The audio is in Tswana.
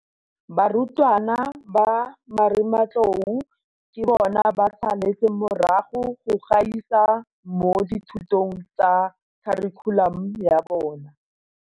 Barutwana ba Marematlou ke bona ba saletseng morago go gaisa mo dithutong tsa kharikhulamo ya bona.